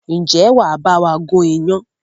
Ǹjẹ́ wàá bawa gun iyán?